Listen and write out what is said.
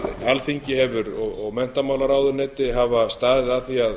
alþingi hefur og menntamálaráðuneyti hafa staðið að því að